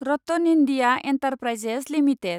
RattanIndia enterprises limited